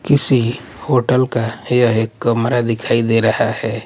किसी होटल का यह एक कमरा दिखाई दे रहा है।